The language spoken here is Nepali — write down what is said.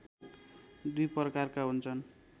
दुई प्रकारका हुन्छन्